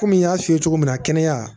Komi n y'a f'i ye cogo min na kɛnɛya